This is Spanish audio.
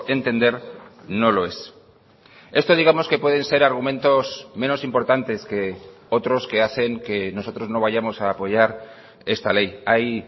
entender no lo es esto digamos que pueden ser argumentos menos importantes que otros que hacen que nosotros no vayamos a apoyar esta ley hay